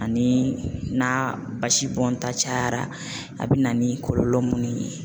Ani n'a basi bɔnta cayara a bina ni kɔlɔlɔ munnu ye